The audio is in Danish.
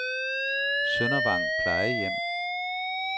Søndervang Plejehjem